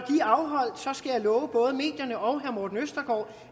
love både medierne og herre morten østergaard